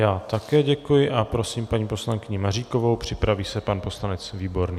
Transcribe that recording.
Já také děkuji a prosím paní poslankyni Maříkovou, připraví se pan poslanec Výborný.